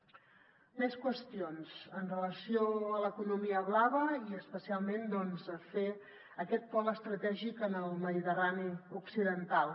més qüestions amb relació a l’economia blava i especialment a fer aquest pol estratègic en el mediterrani occidental